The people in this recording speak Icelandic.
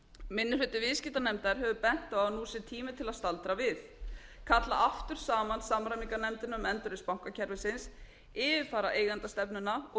minni hluti viðskiptanefndar hefur bent á að nú sé tími til að staldra við kalla aftur saman samræmingarnefndina um endurreisn bankakerfisins yfirfara eigendastefnuna og